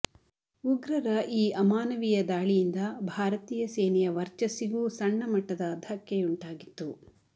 ಉಗ್ರರ ಈ ಅಮಾನವೀಯ ದಾಳಿಯಿಂದ ಭಾರತೀಯ ಸೇನೆಯ ವರ್ಚಸ್ಸಿಗೂ ಸಣ್ಣಮಟ್ಟದ ಧಕ್ಕೆಯುಂಟಾಗಿತ್ತು